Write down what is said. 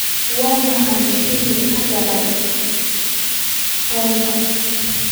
waa maxay shilinka ka dhanka ah pound-ka